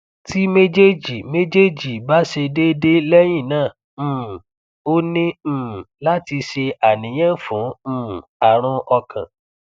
ti mejeji mejeji ba se dede lehina um o ni um lati se aniyan fun um arun okan